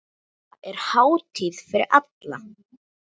Þetta er hátíð fyrir alla.